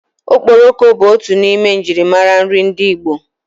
Okporoko bu otu n'ime ejirimara nri ndi Igbo.